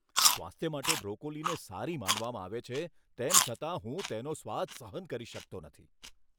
સ્વાસ્થ્ય માટે બ્રોકોલીને સારી માનવામાં આવે છે તેમ છતાં હું તેનો સ્વાદ સહન કરી શકતો નથી.